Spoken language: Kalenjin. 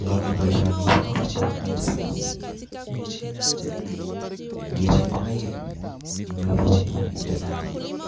Ngoker boisioni ko bo kamanut missing ngibai ngokaik inyoru tugun chechany,